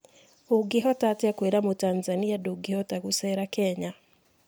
Ũngĩhotaatia kũira mũtanzania ndũngĩhota gũcera kenya?